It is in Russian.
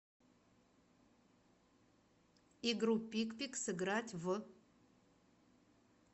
игру пикпик сыграть в